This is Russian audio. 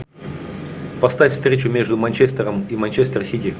поставь встречу между манчестером и манчестер сити